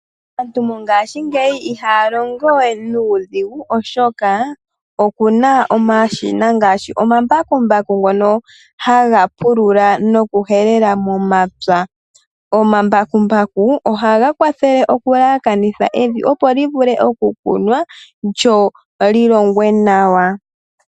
Aantu ngashingeyi ihaya longo we nuudhigu oshoka okuna omashina ngaashi omambakumbaku ngono haga pulula nokuhelela momapya. Omambakumbaku ohaga kwathele okuyelekanitha evi opo li vule okukunwa, lyo li longwe nawa.